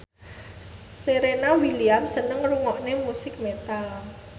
Serena Williams seneng ngrungokne musik metal